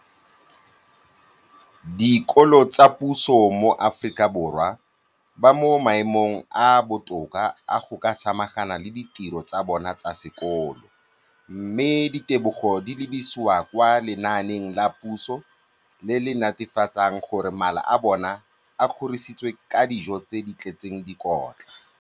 Dikolo tsa puso mo Aforika Borwa ba mo maemong a a botoka a go ka samagana le ditiro tsa bona tsa sekolo, mme ditebogo di lebisiwa kwa lenaaneng la puso le le netefatsang gore mala a bona a kgorisitswe ka dijo tse di tletseng dikotla.